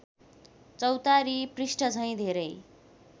चौतारी पृष्ठझैँ धेरै